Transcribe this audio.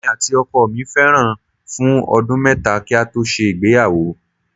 Èmi àti ọkọ mí fẹ́ra fún ọdún mẹ́ta kí a tó ṣe ìgbéyàwó